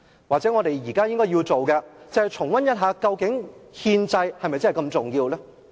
或者我們現在要做的事，就是重溫一下究竟憲制是否如此重要。